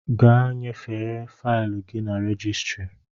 Gaa nyefee faịlụ gị na rejistịrị!